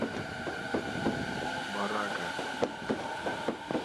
барака